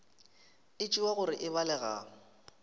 e tšewa gore e balega